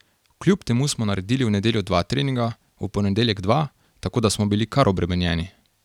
Kljub temu smo naredili v nedeljo dva treninga, v ponedeljek dva, tako da smo bili kar obremenjeni.